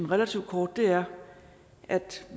relativt kort er at